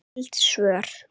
Skyld svör